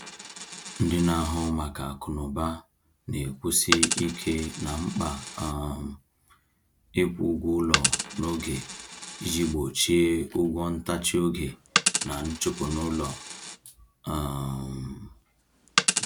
Ndị na-ahụ maka akụnụba na-ekwusi ike na mkpa um ịkwụ ụgwọ ụlọ n’oge iji gbochie ụgwọ ntachi oge na nchụpụ n’ụlọ. um